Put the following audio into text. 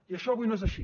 i això avui no és així